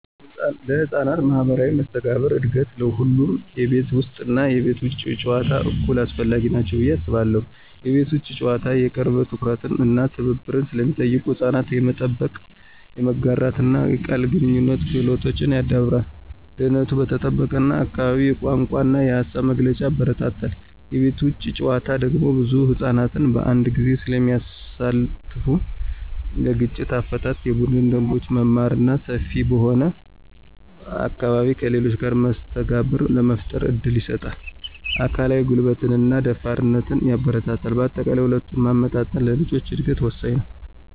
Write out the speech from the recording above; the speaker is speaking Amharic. ለሕፃናት ማኅበራዊ መስተጋብር እድገት ሁለቱም የቤት ውስጥ እና የቤት ውጭ ጨዋታዎች እኩል አስፈላጊ ናቸው ብዬ አስባለሁ። የቤት ውስጥ ጨዋታዎች የቅርብ ትኩረት እና ትብብር ስለሚጠይቁ ሕፃናት የመጠበቅ፣ የመጋራትና የቃል ግንኙነት ክህሎቶችን ያዳብራሉ። ደህንነቱ በተጠበቀ አካባቢ የቋንቋ እና የሃሳብ መግለጫን ያበረታታል። የቤት ውጭ ጨዋታዎች ደግሞ ብዙ ሕፃናትን በአንድ ጊዜ ስለሚያሳትፉ ለግጭት አፈታት፣ የቡድን ደንቦችን መማር እና ሰፊ በሆነ አካባቢ ከሌሎች ጋር መስተጋብር ለመፍጠር እድል ይሰጣል። አካላዊ ጉልበትንና ደፋርነትንም ያበረታታል። በአጠቃላይ፣ ሁለቱን ማመጣጠን ለልጆች እድገት ወሳኝ ነው።